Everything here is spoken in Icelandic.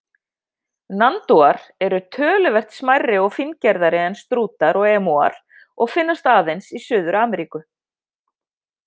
Nandúar eru töluvert smærri og fíngerðari en strútar og emúar og finnast aðeins í Suður-Ameríku.